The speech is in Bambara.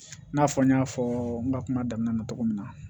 I n'a fɔ n y'a fɔ n ka kuma daminɛ na cogo min na